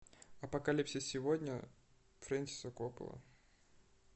апокалипсис сегодня фрэнсиса коппола